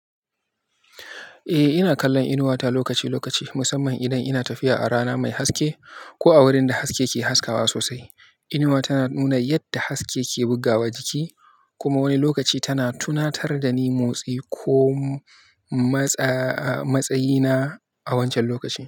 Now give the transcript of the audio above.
Eh, ina kallon inuwata lokaci-lokaci, musamman idan ina tafiya a rana mai haske ko a wurinda haske ke haskawa sosai. Inuwa tana nuna yadda haske ke bugawa jiki kuma wani lokaci tana tunatar da ni motsi ko matsayina a wancan lokacin.